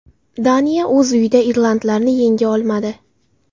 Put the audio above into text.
Daniya o‘z uyida irlandlarni yenga olmadi.